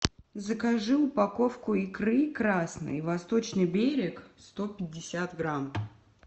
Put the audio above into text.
закажи упаковку икры красной восточный берег сто пятьдесят грамм